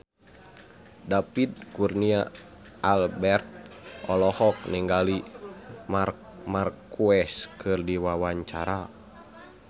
David Kurnia Albert olohok ningali Marc Marquez keur diwawancara